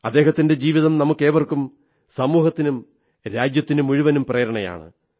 അദ്ദേഹത്തിന്റെ ജീവിതം നമുക്കേവർക്കും സമൂഹത്തിനും രാജ്യത്തിനുമുഴുവനും പ്രേരണയാണ്